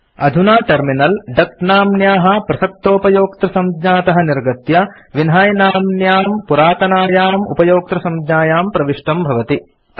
अधुना टर्मिनल डक नाम्न्याः प्रसक्तोपयोक्तृसंज्ञातः निर्गत्य विन्है नाम्न्यां पुरातनायाम् उपयोक्तृसंज्ञायां प्रविष्टं भवति